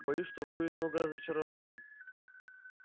боюсь что будет много разочарований